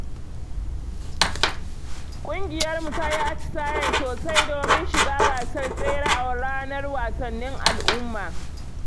Ƙungiyarmu ta yi atisaye sosai domin shiga gasar tsere a ranar wasannin al’umma.